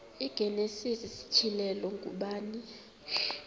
igenesis isityhilelo ngubani